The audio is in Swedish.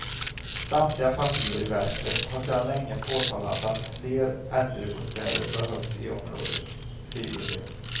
Samtliga partier i väster har sedan länge påtalat att fler äldrebostäder behövs i området, skriver de.